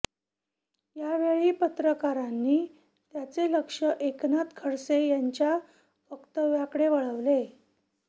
यावेळी पत्रकारांनी त्यांचे लक्ष एकनाथ खडसे यांच्या वक्तव्याकडे वळविले